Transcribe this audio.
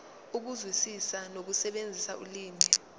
ukuzwisisa nokusebenzisa ulimi